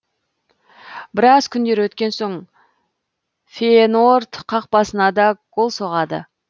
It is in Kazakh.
біраз күндер өткен соң фейеноорд қақпасына да гол соғады